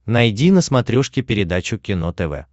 найди на смотрешке передачу кино тв